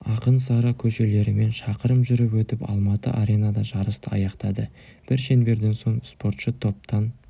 ақын сара көшелерімен шақырым жүріп өтіп алматы аренада жарысты аяқтады бір шеңберден соң спортшы топтан